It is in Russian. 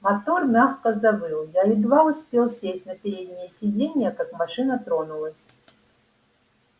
мотор мягко завыл я едва успел сесть на переднее сиденье как машина тронулась